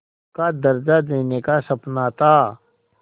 का दर्ज़ा देने का सपना था